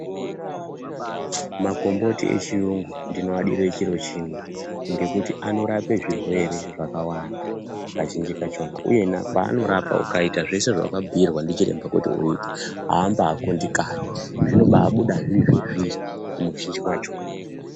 Makomboti echiyungu ndinodire chiro chimwe ngekuti anorape zvirwere zvakawanda kazhinji kachona. Uyena paanorapa ukaita zvese zvaakubhuirwa ndichiremba kuti uite hamba kundikani unombabuda zviri zvezviri muzhinji macho.